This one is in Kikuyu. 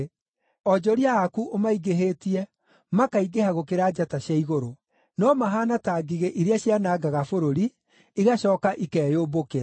Onjoria aku ũmaingĩhĩtie, makaingĩha gũkĩra njata cia igũrũ, no mahaana ta ngigĩ iria cianangaga bũrũri, igacooka ikeyũmbũkĩra.